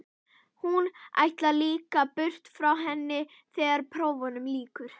Hún ætlar líka burt frá henni þegar prófunum lýkur.